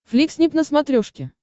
фликснип на смотрешке